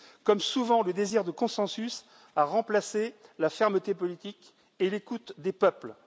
Comme souvent, le désir de consensus a remplacé la fermeté politique et l'écoute des peuples.